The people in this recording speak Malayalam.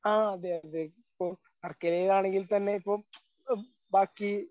ആ അതെ അതെ. ഇപ്പോ വർക്കലയിൽ ആണെങ്കിൽത്തന്നെ ഇപ്പോ ആ ബാക്കി